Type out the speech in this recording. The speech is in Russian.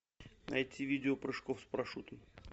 найти видео прыжков с парашютом